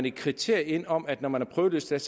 et kriterie ind om at når man er prøveløsladt